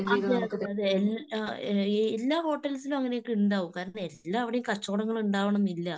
അതെയതെയതെ എല്ലാ ഏഹ് എല്ലാ ഹോട്ടൽസിലും അങ്ങനെയൊക്കെ ഉണ്ടാവും. കാരണം എല്ലാവടേയും കച്ചവടങ്ങള് ഉണ്ടാവണംന്ന് ഇല്ല.